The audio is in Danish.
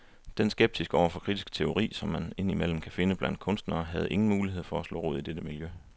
Den skepsis over for kritisk teori, som man ind imellem kan finde blandt kunstnere, havde ingen mulighed for at slå rod i dette miljø.